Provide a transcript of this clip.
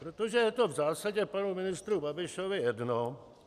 Protože je to v zásadě panu ministru Babišovi jedno.